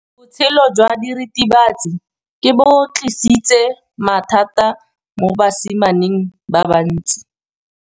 Botshelo jwa diritibatsi ke bo tlisitse mathata mo basimaneng ba bantsi.